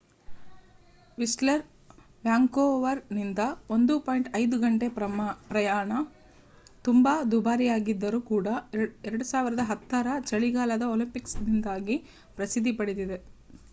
Whistler ವ್ಯಾಂಕೋವರ್‌ನಿಂದ 1.5 ಗಂಟೆ ಪ್ರಯಾಣ ತುಂಬಾ ದುಬಾರಿಯಾಗಿದ್ದರೂ ಕೂಡ 2010 ರ ಚಳಿಗಾಲದ ಒಲಿಂಪಿಕ್ಸ್‌ನಿಂದಾಗಿ ಪ್ರಸಿದ್ಧಿ ಪಡೆದಿದೆ